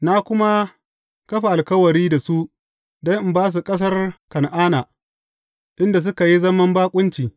Na kuma kafa alkawari da su don in ba su ƙasar Kan’ana, inda suka yi zaman baƙunci.